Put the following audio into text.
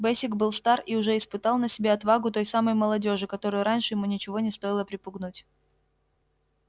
бэсик был стар и уже испытал на себе отвагу той самой молодёжи которую раньше ему ничего не стоило припугнуть